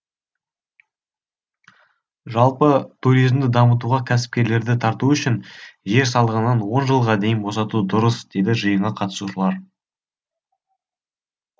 жалпы туризмді дамытуға кәсіпкерлерді тарту үшін жер салығынан он жылға дейін босату дұрыс дейді жиынға қатысушылар